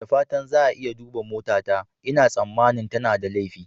Da fatan za a duba motata, ina tsammanin tana da laifi.